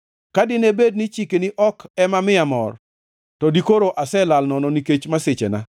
Ka dine bed ni chikeni ok ema miya mor, to dikoro aselal nono nikech masichena.